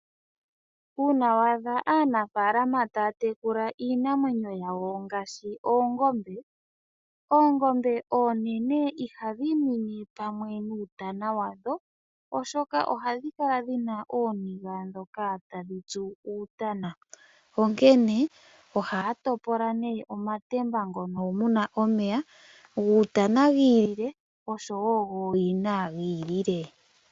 Uuna waadha aanafaalama taya munu iinamwenyo yawo ngaashi oongombe , oongombe oonene ihadhi nwine pamwe nuutana wadho oshoka ohadhi kala dhina ooniga ndhoka tadhi tsu uutana. Onkene ohaya topola nee omatemba ngono muna omeya guutana gi ili le oshowo gooyina gi ili le.